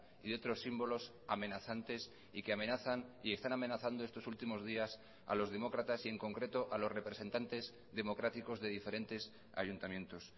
y de otros símbolos amenazantes y que amenazan y están amenazando estos últimos días a los demócratas y en concreto a los representantes democráticos de diferentes ayuntamientos